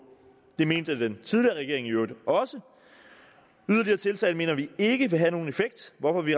det mente den tidligere regering i øvrigt også yderligere tiltag mener vi ikke vil have nogen effekt hvorfor vi